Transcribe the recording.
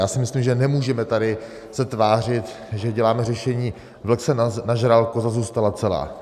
Já si myslím, že nemůžeme tady se tvářit, že děláme řešení: vlk se nažral, koza zůstala celá.